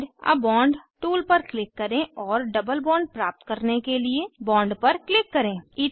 add a bond tool पर click करें और डबल बॉन्ड प्राप्त करने के लिए बॉन्ड पर क्लिक करें